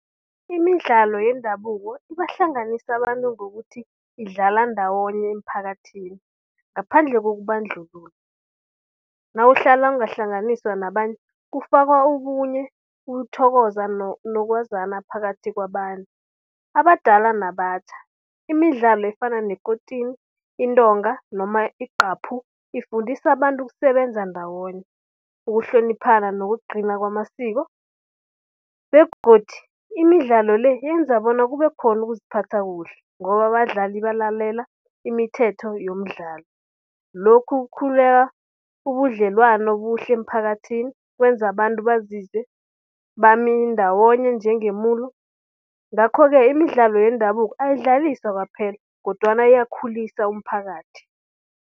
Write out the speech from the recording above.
Imidlalo yendabuko ibahlanganisa abantu ngokuthi, idlala ndawonye emphakathini ngaphandle kokubandlululo. Nawuhlala ungahlanganiswa nabanye kufakwa okunye ukuthokoza nokwazana phakathi kwabantu. Abadala nabatjha imidlalo efana nekotini, intonga noma igqaphu ifundisa abantu ukusebenza ndawonye, ukuhloniphana, nokugcina kwamasiko begodu imidlalo le yenza bona kube khona ukuziphatha kuhle ngoba abadlali balalela imithetho yomdlalo. Lokhu ubudlelwano obuhle emphakathini kwenza abantu bazizwe bamindawonye njengemulo. Ngakho-ke imidlalo yendabuko ayidlaliswa kwaphela kodwana iyakhulisa umphakathi.